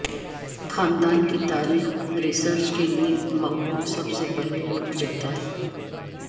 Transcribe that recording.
خاندان کی تاریخ ریسرچ کے لئے مقبول سب سے پہلے رک جاتا ہے